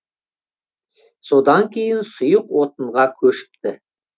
содан кейін сұйық отынға көшіпті